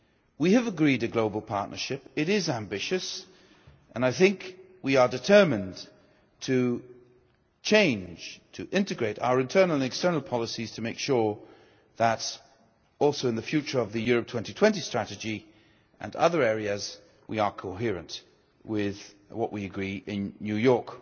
We have agreed a global partnership, it is ambitious, and I think we are determined to change, to integrate our internal and external policies, to make sure that, also in the future of the Europe 2020 strategy and other areas, we are coherent with what we agree in New York.